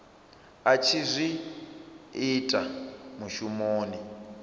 a tshi zwi ita mushumoni